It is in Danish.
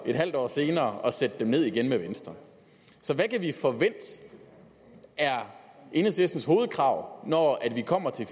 et halvt år senere at sætte dem ned igen sammen med venstre så hvad kan vi forvente er enhedslistens hovedkrav når vi kommer til